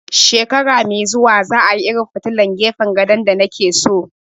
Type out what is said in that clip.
Shekara mai zuwa za a yi irin filtilan gefen gado da na ke so